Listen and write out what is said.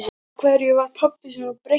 Af hverju var pabbi svona breyttur?